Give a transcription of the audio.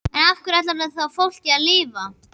En á hverju ætlarðu þá fólkinu að lifa?